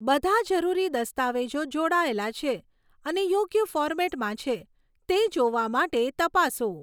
બધા જરૂરી દસ્તાવેજો જોડાયેલા છે અને યોગ્ય ફોર્મેટમાં છે તે જોવા માટે તપાસો.